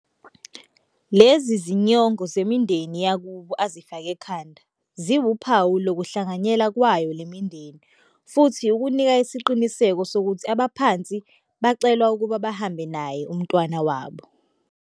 Lezi zinyongo zemindeni yakubo azifake ekhanda ziwuphawu lokuhlanganyela kwayo lemindeni futhi kunika isiqinisekiso sokuthi abaphansi bacelwa ukuba bahambe naye umntwana wabo,.